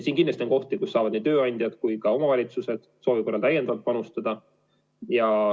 Kindlasti on võimalusi, millega nii tööandjad kui ka omavalitsused saavad soovi korral täiendavalt panustada.